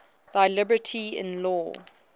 thy liberty in law